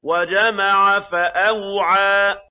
وَجَمَعَ فَأَوْعَىٰ